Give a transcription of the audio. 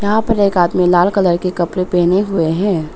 यहां पर एक आदमी लाल कलर के कपड़े पहने हुए हैं।